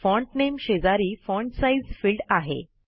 font नामे शेजारी font size field आहे